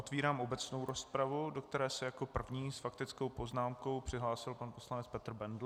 Otevírám obecnou rozpravu, do které se jako první s faktickou poznámkou přihlásil pan poslanec Petr Bendl.